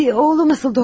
Oğlum necədir, doktor?